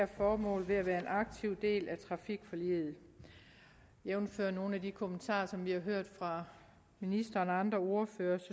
formål ved at være en aktiv del af trafikforliget jævnfør nogle af de kommentarer som vi har hørt fra ministeren og andre ordførere og